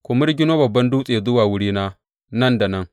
Ku mirgino babban dutse zuwa wurina nan da nan.